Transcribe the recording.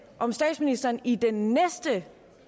om statsministeren i den næste